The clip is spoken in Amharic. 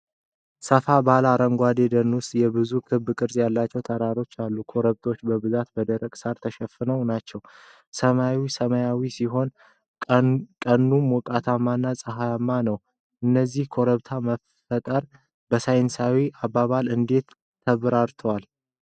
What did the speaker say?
ሰፋ ባለ አረንጓዴ ደን ውስጥ የብዙ ክብ ቅርጽ ያላቸው ተራሮች አሉ። ኮረብቶቹ በብዛት በደረቀ ሳር የተሸፈኑ ናቸው። ሰማዩ ሰማያዊ ሲሆን ቀኑ ሞቃታማና ፀሐያማ ነው። የእነዚህ ኮረብታዎች መፈጠር በሳይንሳዊ አባባል እንዴት ተብራርቷል?